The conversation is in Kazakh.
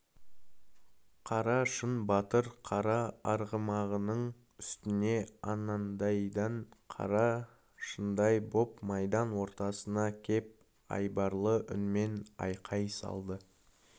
қарашың батыр қара арғымағының үстіне анандайдан қара шыңдай боп майдан ортасына кеп айбарлы үнмен айқай салды